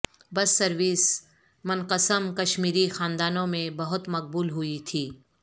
بس سروس منقسم کشمیری خاندانوں میں بہت مقبول ہوئی تھی